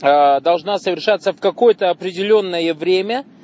ээ должна совершаться в какое-то определённое время